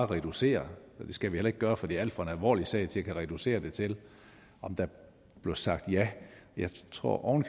reducere og det skal vi heller ikke gøre for det er en alt for alvorlig sag til at skulle reducere det til om der blev sagt ja jeg tror oven